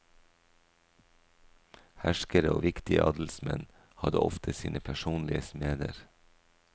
Herskere og viktige adelsmenn hadde ofte sine personlige smeder.